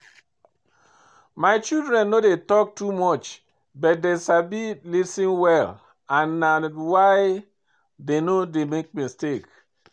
My children no dey talk too much but dey sabi lis ten well and na why dey no dey make mistake